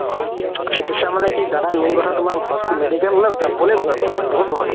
চিকিৎসা মানে কি দাদা main কথা দাদা হচ~ medical যাবলে ভই কৰে মানে বহুত ভয়